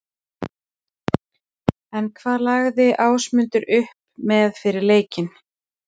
En hvað lagði Ásmundur upp með fyrir leikinn?